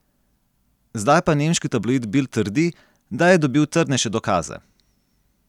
Zdaj pa nemški tabloid Bild trdi, da je dobil trdnejše dokaze.